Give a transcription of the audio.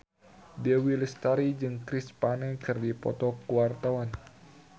Dewi Lestari jeung Chris Pane keur dipoto ku wartawan